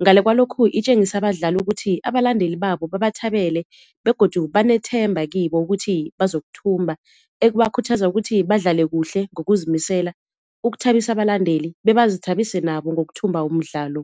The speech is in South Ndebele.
Ngale kwalokhu itjengise abadlali ukuthi abalandeli babo babathabele begodu banethemba kibo ukuthi bazokuthumba, ekubakhuthaza ukuthi badlale kuhle ngokuzimisela ukuthabisa abalandeli bebazithabise nabo ngokuthumba umdlalo.